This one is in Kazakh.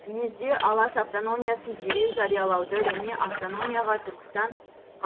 сиезде алаш автономиясын дереу жариялауды және автономияға түркістан